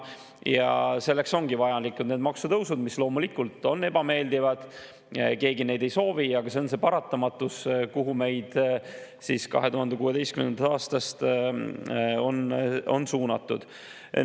Ja selleks ongi vajalikud need maksutõusud, mis loomulikult on ebameeldivad ja mida keegi ei soovi, aga see on see paratamatus, kuhu meid 2016. aastast on suunatud.